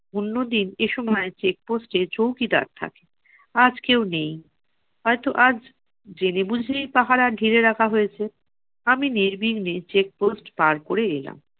অন্যদিন এসময় check post এ চৌকিদার থাকে। আজ কেউ নেই, হয়তো আজ জেনে বুঝেই পাহারা ঢিলে রাখা হয়েছে। আমি নির্বিঘ্নে check post পার করে এলাম।